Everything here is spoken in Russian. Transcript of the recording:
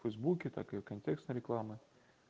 фейсбуке такое контекстная реклама